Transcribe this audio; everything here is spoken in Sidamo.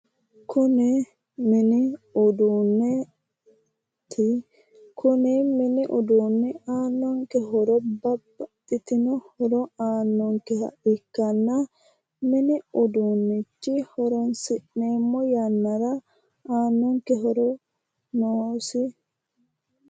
Kuni mini uduunneeti. kuni mini uduunnu aannonke horo babbaxitino horo aannonkeha ikkanna mini uduunnicho horonsi'neemmo yannara aannonke horo noosi.